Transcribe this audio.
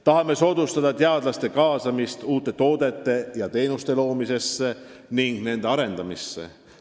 Tahame soodustada teadlaste kaasamist uute toodete ja teenuste loomisse ning nende arendamisse.